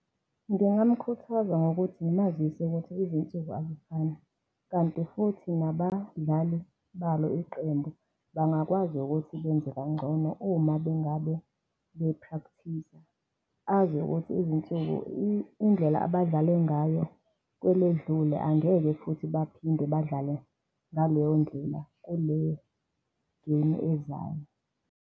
Ngingamkhuthaza ngokuthi ngimazise ukuthi izinsuku azifani, kanti futhi nabadlali balo iqembu bangakwazi ukuthi benze kangcono uma bengabe bephrakthiza. Azi ukuthi izinsuku, indlela abadlale ngayo kweledlule angeke futhi baphinde badlale ngaleyo ndlela kule-game ezayo.